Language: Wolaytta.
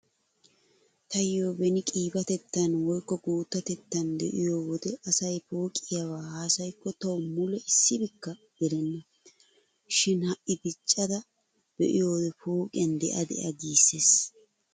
Taayyo beni qiibatettan woykko guuttatettn diyo wode asay pooqiyaba haasayikko tawu mule issibikka gelenna. Shin ha"i diccada be'iyode pooqiyan de'a de'a giissees.